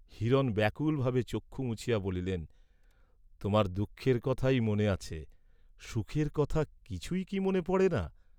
হিরণ ব্যাকুলভাবে চক্ষু মুছিয়া বলিলেন, "তোমার দুঃখের কথাই মনে আছে, সুখের কথা কিছুই কি মনে পড়ে না?"